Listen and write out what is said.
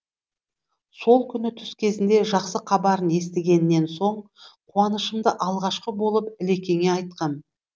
сол күні түс кезінде жақсы хабарын естігеннен соң қуанышымды алғашқы болып ілекеңе айтқам